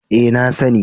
E, na sani.